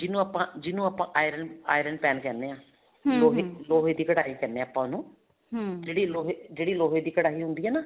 ਜਿਹਨੂੰ ਆਪਾਂ ਜਿਹਨੂੰ ਆਪਾਂ iron iron pan ਕਹਿੰਦੇ ਹਾਂ ਲੋਹੇ ਦੀ ਕੜਾਈ ਕਹਿਣੇ ਹਾਂ ਆਪਾਂ ਉਹਨੂੰ ਜਿਹੜੀ ਲੋਹੇ ਲੋਹੇ ਦੀ ਕੜਾਈ ਹੁੰਦੀ ਹੈ ਨਾ